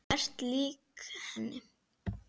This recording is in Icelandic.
Þú ert lík henni.